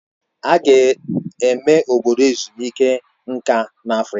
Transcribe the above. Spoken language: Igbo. Aga eme Obodo ezumike nka na Afrịka